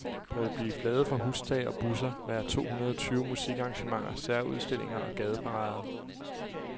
Der vil blive flaget fra hustage og busser, være to hundrede tyve musikarrangementer, særudstillinger og gadeparader.